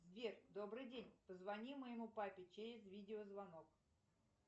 сбер добрый день позвони моему папе через видеозвонок